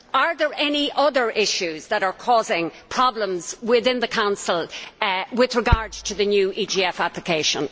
Are there any other issues that are causing problems within the Council with regard to the new EGF application?